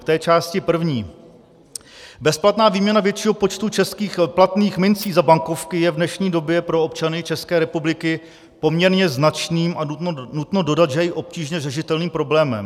K té částí první: Bezplatná výměna většího počtu českých platných minci za bankovky je v dnešní době pro občany České republiky poměrně značným a nutno dodat, že i obtížně řešitelným problémem.